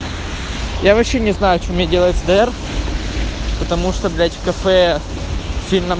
я вообще не знаю что мне делать с др потому что блять в кафе сильно